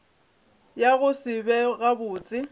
ya go se be gabotse